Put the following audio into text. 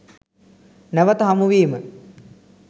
නැවත හමු වීම